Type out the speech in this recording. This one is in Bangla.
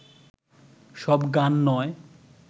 সব গান নয়